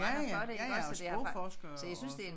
Ja ja ja ja og sprogforskere og sådan